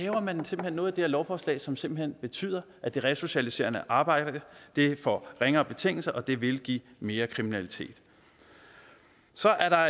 at man så laver noget i det her lovforslag som simpelt hen betyder at det resocialiserende arbejde får ringere betingelser og det vil give mere kriminalitet så er der